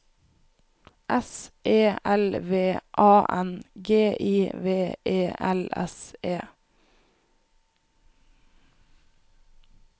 S E L V A N G I V E L S E